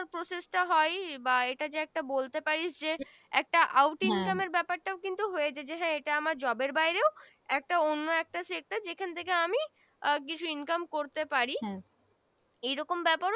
process টা হয় বা এটা যে একটা বলতে পারিস যে একটা Out income এর ব্যাপার টা ও কিন্তু হয়েছে যে এটা আমার Job এর বাইরেও একটা অন্য একটা sector যেখান থেকে আমি আহ কিছু income করতে পারি এই রকম ব্যাপার